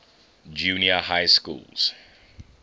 junior high schools